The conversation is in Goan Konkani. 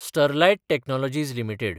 Sterlite Technologies limited